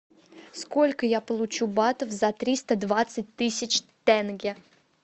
сколько я получу батов за триста двадцать тысяч тенге